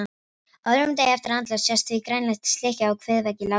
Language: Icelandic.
Á öðrum degi eftir andlát sést því grænleit slikja á kviðvegg látins manns.